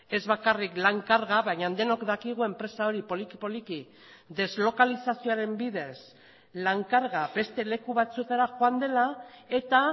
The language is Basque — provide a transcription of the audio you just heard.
ez bakarrik lan karga baina denok dakigu enpresa hori poliki poliki deslokalizazioaren bidez lan karga beste leku batzuetara joan dela eta